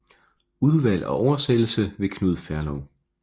Udvalg og oversættelse ved Knud Ferlov